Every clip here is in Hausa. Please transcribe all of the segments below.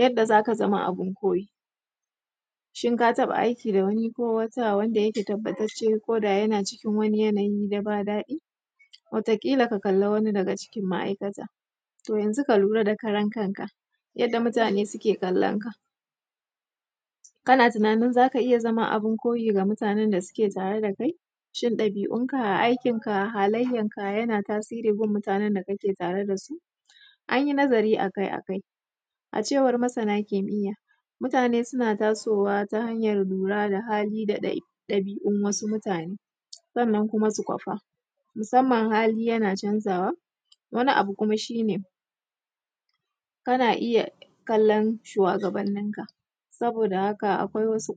Yadda za ka zama abun koyi, shi ka taba aiki da wani ko wata da yake tabbatace ko yana cikin wani yanayi da ba daɗi. Wata kila ka kalli wani daga cikin ma'aikata, to yanzu ka kalli karan kanka yadda mutane suke kallanka. Kana tunanin za ak aiya zama abun koyi ga mutane n da suke tare da kai, shin dabi'unka aikinka halayyarka yana tasirin gurin mutanen da kake tare da su. An yi nazari a kai, a cewar masana kimiyya, mutane suna tasowa ta hanyar lura da hali da dabi'un wasu mutane sannan kuma su kofa. Musamman hali yana canzawa, wani abu kuma shi ne kana iya kallon shuwagabanninka. Saboda haka akwai wasu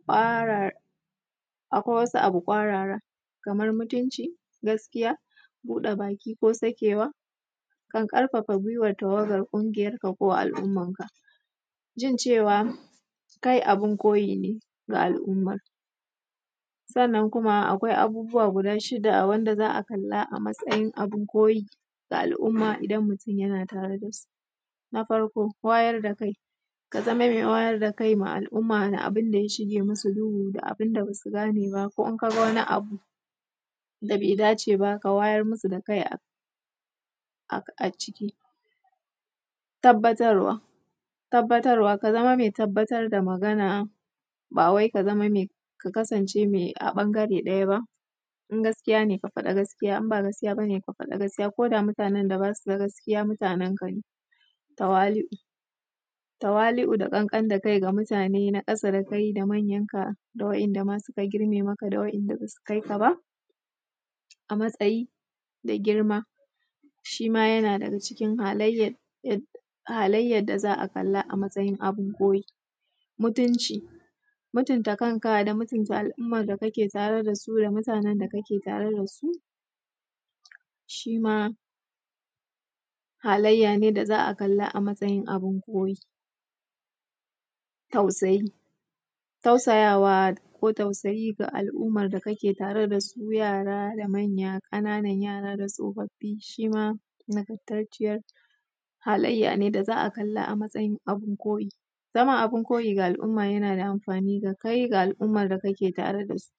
abu ƙwarara kamar mutunci, gaskiya buɗe baki ko sakewa kan ƙarfafa tafiyar kungiyarka ko al'ummarka jin cewa kai abun koyi ne ga al'ummar. Sannan Kuma akwai abubuwa guda shida wanda za a kalla abun koyi ga al'umma idan mutum yana tare da su. Na farko wayar da kai, ka zama mai wayar da kai ga al'umma na abun da ya shige musu duhu d abunda ba su gane ba ko in ka ga wani abu da bai dace ba, ka wayar musa kai a ciki. Tabbatarwa, ka zama mai tabbatar sa magana ba wai mai ka kasance a bangare daya ba, in gaskiya ne ka faɗa gaskiya; idan ba gaskiya ba ne ka faɗa gaskiya ko da mutanen da ba su da gaskiya Mutanen ka ne. Tawali'u, tawali'u da ƙanƙan da kai ga mutane na ƙasa da kai da waɗanda ma suka girme maka da waɗanda basu kai ka ba a matsayi da girma shi ma yana da daga cikin halayyar da za a kalla a matsayin abun koyi. Mutumci, mutunta kanka shi ma da mutunta al'umma da kake tare sa su shi ma halayya ne da za a kalla a matsayin abun koyi. Tausayi, tausayawa ko tausayi da kake wa al'umma game da su yara da manya da ƙananan da tsofaffin shi ma nagartacciyar haliyya ne da za a kalla a matsayin abun koyi. Zama abun koyi ga al'umma yana da amfani ga kai da al'umma da kake tare da su.